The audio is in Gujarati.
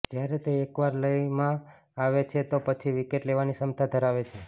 જ્યારે તે એકવાર લયમાં આવે છે તો પછી વિકેટ લેવાની ક્ષમતા ધરાવે છે